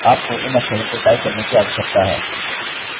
आपको इन अक्षरों को टाइप करने की आवश्यकता है